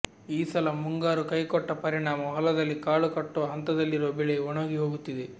ಈ ಸಲ ಮುಂಗಾರು ಕೈಕೊಟ್ಟ ಪರಿಣಾಮ ಹೊಲದಲ್ಲಿ ಕಾಳು ಕಟ್ಟುವ ಹಂತದಲ್ಲಿರುವ ಬೆಳೆ ಒಣಗಿ ಹೋಗುತ್ತಿದೆ